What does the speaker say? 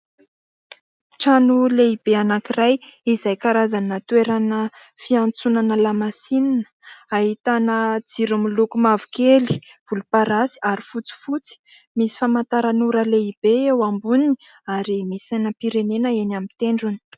Trano lehibe anankiray izay karazana toerana fiantsonana lamasinina, ahitana jiro miloko mavokely, volomparasy ary fotsifotsy, misy famantaran'ora lehibe eo amboniny ary misy sainam-pirenena eny amin'ny tendrony.